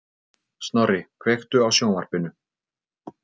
Snorri, kveiktu á sjónvarpinu.